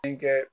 Denkɛ